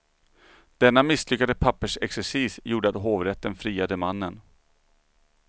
Denna misslyckade pappersexercis gjorde att hovrätten friade mannen.